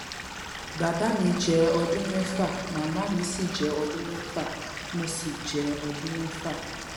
bàbá mi jẹ ọdún mẹfà màmá mi sì jẹ ọdún mẹfà mo sì jẹ ọdún mẹfà